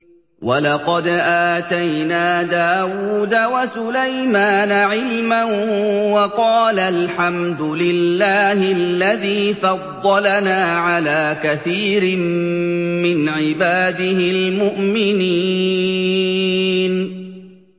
وَلَقَدْ آتَيْنَا دَاوُودَ وَسُلَيْمَانَ عِلْمًا ۖ وَقَالَا الْحَمْدُ لِلَّهِ الَّذِي فَضَّلَنَا عَلَىٰ كَثِيرٍ مِّنْ عِبَادِهِ الْمُؤْمِنِينَ